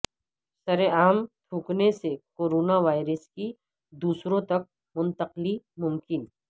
سرعام تھوکنے سے کورونا وائرس کی دوسروں تک منتقلی ممکن